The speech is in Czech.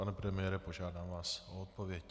Pane premiére, požádám vás o odpověď.